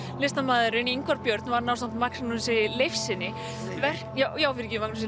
listamaðurinn Ingvar Björn vann ásamt Mágnúsi